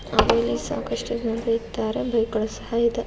ಹಾಗೂ ಸಾಕಷ್ಟು ಜನರು ಇದ್ದಾರೆ ಬೈಕ್ ಗಳು ಸಹ ಇದೆ.